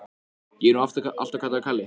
Það er ekki það sagði ég, heldur ferðaþreytan.